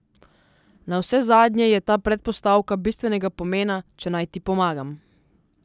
Navsezadnje je ta predpostavka bistvenega pomena, če naj ti pomagam.